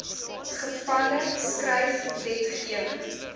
gevalle skryf wetgewing